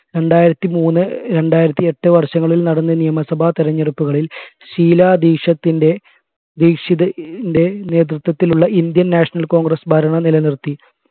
രണ്ടായിരത്തി മൂന്ന് രണ്ടായിരത്തി എട്ട് വർഷങ്ങളിൽ നടന്ന നിയമസഭാ തിരഞ്ഞെടുപ്പുകളിൽ ഷീലാ ദീശത്തിൻറെ ദീക്ഷിതിന്റെ നേതൃത്വത്തിലുള്ള Indian national congress ഭരണ നിലനിർത്തി